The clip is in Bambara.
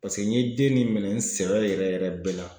Paseke n ye den nin minɛ n sɛbɛ yɛrɛ yɛrɛ bɛɛ la.